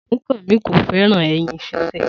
Sunkanmi ko fẹràn ẹyin ṣíṣe.